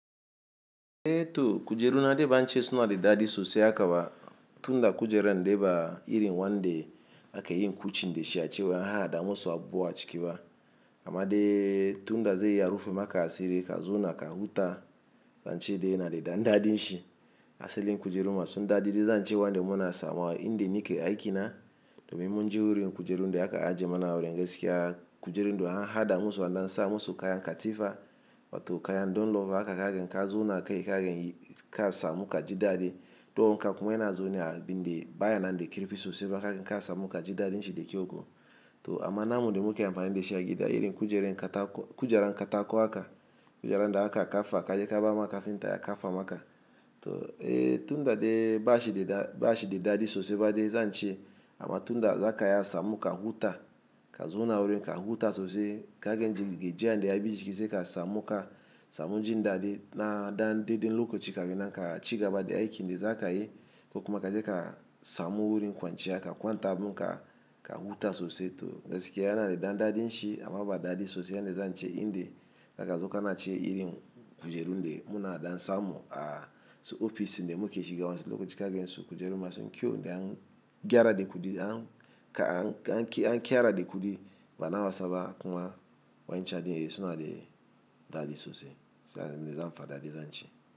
To, kujeru na de bance suna da dadi sosai haka ba, tunda kujeran de ba irin wande ake yin kucin da shi a ce wai an hahaɗa musu abuwa ciki ba. Amma dai, tunda zai iya rufe maka asiri ka zona ka huta, zan ce dai ya na da dan dadin shi. Asalin kujeru masun dadi dai zan ce wanɗe muna samowa inda nake aikina, domin mun je wurin, kujerun da aka ajiye mana wurin gaskiya, kujerun da an haɗa musu an ɗansa musu kayan katifa, wato kayan don lofa haka kaga in ka zo naka yi kaga in ka samu ka ji daɗi. To kuma in ka kuma yana zo ne a bindi baya nan da kirifi sosai ba kaga in ka samu ka ji daɗin shi da kyau ko. To amma namu dai muke amfani da shi a gida irin kujeran katako aka kujeran da aka kafa ka je ka ba maka finta ya kafa maka. To eh tunda dai bashi da daɗi sosai ba dai zan ce amma tunda zaka iya samun ka huta ka zona awurin huta sosai kaga in ji gejiya nda ya biki sai ka samu ka samu jin daɗi na ɗanɗeɗen lokoci ka fi nan ka ci gaba da aiki nda za ka yi. Ko kuma ka je ka samu wurin kwanciya ka kwanta abun ka ka huta sosai to gaskiya yana da ɗan daɗin shi amma ba daɗi sosai yan dai zan ce inda zaka zo ka nace irin kujeru nda muna dansa mu a ofis din muke shiga wasu lokuta kaga in so kujeru masun kyau nda an gyara da kuɗi an ka an ƙera da kuɗi bana wasaba kuma wancan dai suna da daɗi sosai sai dai zan faɗa dai zan ce.